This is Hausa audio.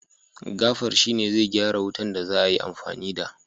gafar shi ne zai gyara wutan da za a yi amfani da